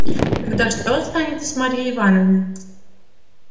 тогда что станется с марьей ивановной